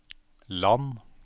land